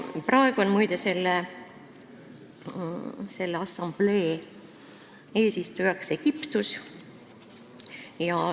Praegu on, muide, selle assamblee eesistujaks Egiptus.